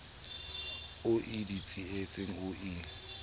o ie ditsietsing o ie